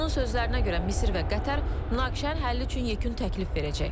Onun sözlərinə görə, Misir və Qətər münaqişənin həlli üçün yekun təklif verəcək.